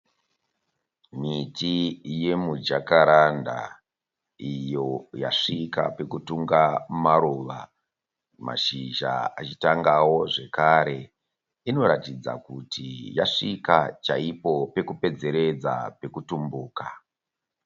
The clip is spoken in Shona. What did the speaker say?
Miti yemijakaranda iyo yasvika pekutunga maruva mashizha achitangawo zvekare. Inoratidza kuti yasvika chaipo pekupedzeredza pekutumbuka.